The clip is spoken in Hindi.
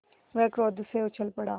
वह क्रोध से उछल पड़ा